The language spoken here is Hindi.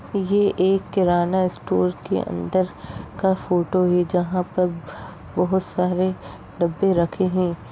ये एक किराना स्टोर के अंदर का फोटो है। जहां पर बहुत सारे डब्बे रखें हैं।